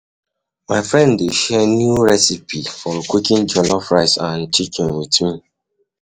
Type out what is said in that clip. My friend dey share new recipe for cooking jollof rice and chicken with me.